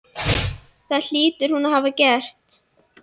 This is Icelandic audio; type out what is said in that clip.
Það hlýtur hún að hafa gert.